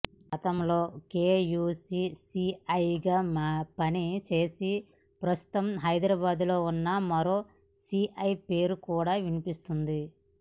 గతంలో కేయూసీ సీఐగా పని చేసి ప్రస్తుతం హైదరాబాద్లో ఉన్న మరో సీఐ పేరు కూడా వినిపిస్తుంది